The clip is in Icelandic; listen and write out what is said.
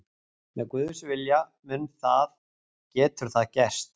Með Guðs vilja, mun það, getur það gerst.